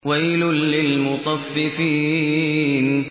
وَيْلٌ لِّلْمُطَفِّفِينَ